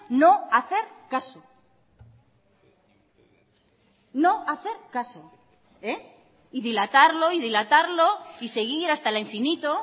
no hacer caso no hacer caso y dilatarlo y dilatarlo y seguir hasta el infinito